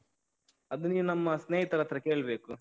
ಅದು ನೀನು ನಮ್ಮ ಸ್ನೇಹಿತರತ್ರ ಕೇಳ್ಬೇಕು.